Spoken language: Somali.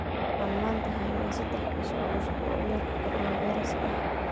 Waxaan maanta haynaa saddex kiis oo cusub oo cudurka coronavirus ah.